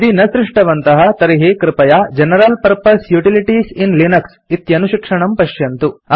यदि न सृष्टवन्तः तर्हि कृपया general purpose utilities in Linux इति अनुशिक्षणं पश्यन्तु